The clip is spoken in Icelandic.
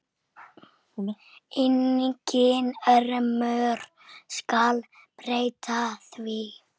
Enginn ormur skal breyta því.